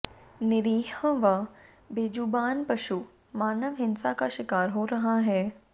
निरीह व बेजुबान पशु मानव हिंसा का शिकार हो रहा है